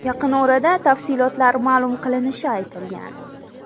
Yaqin orada tafsilotlar ma’lum qilinishi aytilgan.